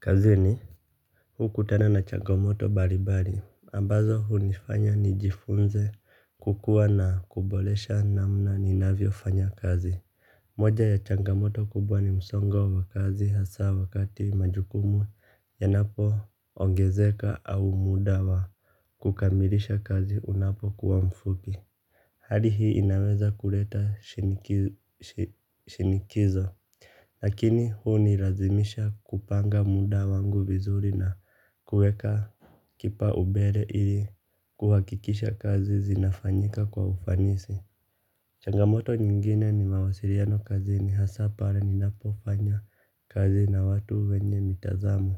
Kazini hukutana na changamoto balibali ambazo hunifanya nijifunze kukua na kubolesha namna ninavyo fanya kazi. Moja ya changamoto kubwa ni msongo wa kazi hasa wakati majukumu yanapo ongezeka au muda wa kukamilisha kazi unapokuwa mfupi. Hali hii inaweza kuleta shinikizo. Lakini hunirazimisha kupanga muda wangu vizuri na kuweka kipa ubele ili kuhakikisha kazi zinafanyika kwa ufanisi. Changamoto nyingine ni mawasiriano kazini hasa pale ninapofanya kazi na watu wenye mitazamo.